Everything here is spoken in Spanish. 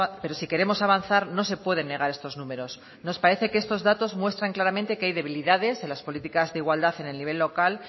pero si queremos avanzar no se pueden negar estos números nos parece que estos datos muestran claramente que hay debilidades en las políticas de igualdad en el nivel local